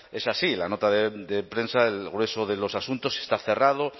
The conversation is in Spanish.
es así la nota de prensa el grueso de los asuntos está cerrado